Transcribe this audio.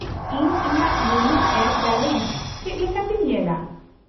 -ᱤᱧ ᱤᱧᱟᱹᱜ YONO app balance ᱪᱮᱫ ᱞᱮᱠᱟᱛᱮᱧ ᱧᱮᱞᱟ ?